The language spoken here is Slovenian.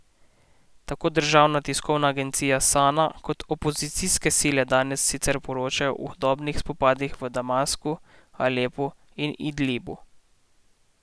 Tako državna tiskovna agencija Sana kot opozicijske sile danes sicer poročajo o hudih spopadih v Damasku, Alepu in Idlibu.